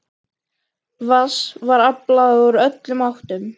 Vatns var aflað úr öllum áttum.